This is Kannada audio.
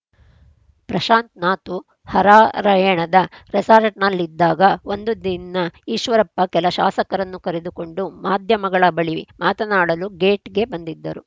ಪ್ರಶಾಂತ್‌ ನಾತು ಹರಾರ‍ಯಣದ ರೆಸಾರ್ಟ್‌ನಲ್ಲಿದ್ದಾಗ ಒಂದು ದಿನ ಈಶ್ವರಪ್ಪ ಕೆಲ ಶಾಸಕರನ್ನು ಕರೆದುಕೊಂಡು ಮಾಧ್ಯಮಗಳ ಬಳಿ ಮಾತಾಡಲು ಗೇಟ್‌ಗೆ ಬಂದಿದ್ದರು